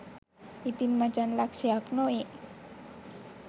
ඉතින් මචන් ලක්ෂයක් නොවේ